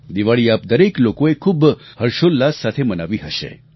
દિવાળી આપ દરેક લોકોએ ખૂબ હર્ષોલ્લાસ સાથે મનાવી હશે